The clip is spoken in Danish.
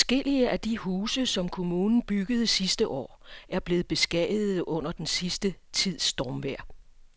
Adskillige af de huse, som kommunen byggede sidste år, er blevet beskadiget under den sidste tids stormvejr.